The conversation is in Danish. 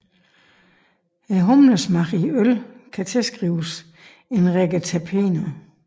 Humlesmagen i øl kan tilskrives en række terpener